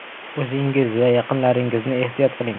O‘zingiz va yaqinlaringizni ehtiyot qiling!